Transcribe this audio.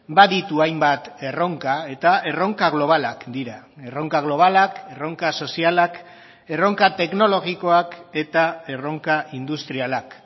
baditu hainbat erronka eta erronka globalak dira erronka globalak erronka sozialak erronka teknologikoak eta erronka industrialak